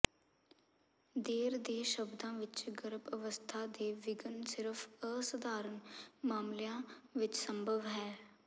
ਦੇਰ ਦੇ ਸ਼ਬਦਾਂ ਵਿਚ ਗਰਭ ਅਵਸਥਾ ਦੇ ਵਿਘਨ ਸਿਰਫ ਅਸਧਾਰਨ ਮਾਮਲਿਆਂ ਵਿਚ ਸੰਭਵ ਹੈ